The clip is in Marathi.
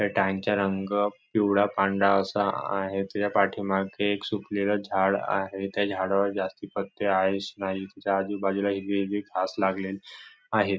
त्या टॅंक चा रंग पिवळा पांढरा असा आहे त्याच्या पाठीमागे एक सुकलेलं झाड आहे त्या झाडावर जास्ती पत्ते आहे नाही त्याच्या आजूबाजूला हिरवी हिरवी घास लागलेली आहेत.